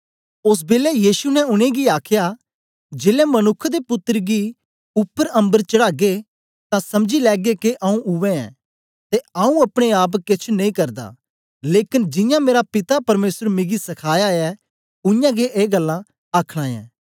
ओस बेलै यीशु ने उनेंगी आखया जेलै मनुक्ख दे पुत्तर गी उपर अम्बर चढ़ागे तां समझी लैगे के आऊँ उवै ऐं ते आऊँ अपने आप केछ नेई करदा लेकन जियां मेरा पिता परमेसर मिगी सखाया ऐ उयांगै ए गल्लां आखना ऐं